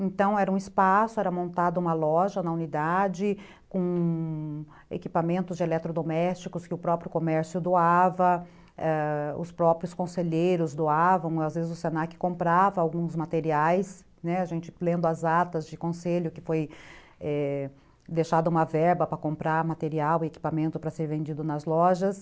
Então, era um espaço, era montada uma loja na unidade com equipamentos de eletrodomésticos que o próprio comércio doava, ãh, os próprios conselheiros doavam, às vezes o se na que comprava alguns materiais, a gente lendo as atas de conselho que foi deixada uma verba para comprar material e equipamento para ser vendido nas lojas.